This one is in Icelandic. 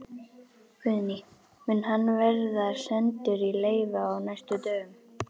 Guðný: Mun hann verða sendur í leyfi á næstu dögum?